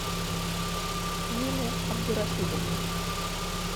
юлия абдурашидовна